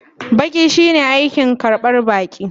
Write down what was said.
Baƙi shine aikin karban baƙi.